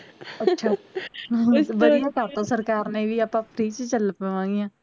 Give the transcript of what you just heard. ਅੱਛਾ ਵਧੀਆ ਕਰਤਾ ਸਰਕਾਰ ਨੇ ਵੀ ਆਪਾਂ free ਚਲ ਪਵਾਂਗੀਆਂ